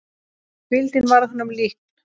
Hvíldin varð honum líkn.